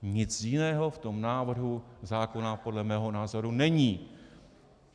Nic jiného v tom návrhu zákona podle mého názoru není.